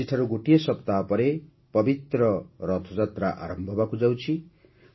ଆଜିଠାରୁ ଗୋଟିଏ ସପ୍ତାହ ପରେ ପବିତ୍ର ରଥଯାତ୍ରା ଆରମ୍ଭ ହେବାକୁ ଯାଉଛି